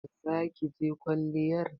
Za ki je kwalliyar?